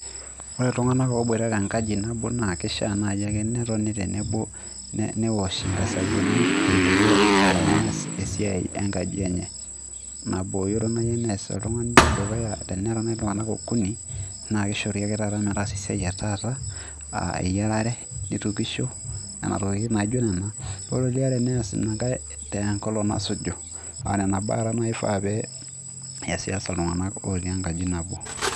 Ore illtung'anak oIbuata tekaji nabo na keshea eneaji netoni tenebo neoshii nkasabuni eneko tenees esiai e kaji enye. Naborunoyoi nees iltung'ani nedukuya teneraa iltung'anak okuni naa keshori ake taata metaasa esiai etaata naa eyarare, netokishoi anaa doi najo nenaa. Ore liaa teneas eniaa nenkai te enkolon nesuju, ara naibaa ake nefaa pieas'as te iltung'anak natii enkaji nabo.